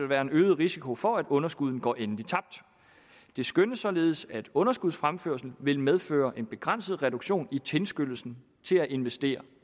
være en øget risiko for at underskuddene går endeligt tabt det skønnes således at underskudsfremførsel vil medføre en begrænset reduktion i tilskyndelsen til at investere